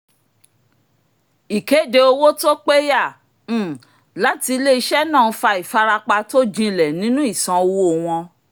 ìkéde owó tó péyà um láti ilé-iṣẹ́ náà fa ìfarapa tó jinlẹ̀ nínú ìsan owó wọn